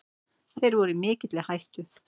Þeir voru í mikilli hættu.